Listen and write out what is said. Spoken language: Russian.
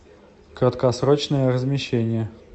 краткосрочное размещение